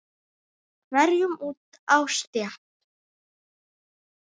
hverjum út á stétt.